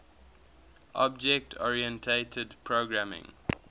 object oriented programming